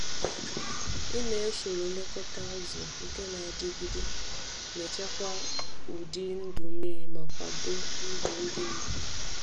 Ime usoro nlekọta azụ nke na-adịgide na-echekwa ụdị ndụ mmiri ma kwado ndụ ndị mmadụ.